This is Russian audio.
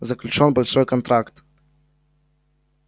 заключён большой контракт